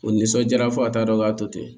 U nisɔndiyara fo ka taa dɔn ka to ten